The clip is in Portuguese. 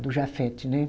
Do Jafet, né?